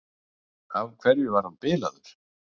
Af hverju var hann bilaður?